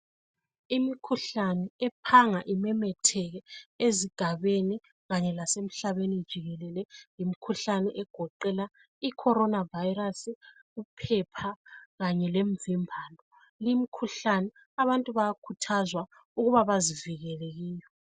Imikhuhlane ephanga imemetheke ezigabeni kanye lasemhlabeni jikelele yimkhuhlane egoqela icorona virus, uphepha kanye lemvimbano limkhuhlane abantu bayakhuthazwa ukuba bazivikele.